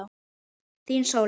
Þín, Sóley.